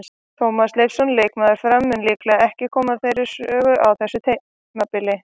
Tómas Leifsson, leikmaður Fram, mun líklega ekki koma meira við sögu á þessu tímabili.